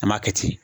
An m'a kɛ ten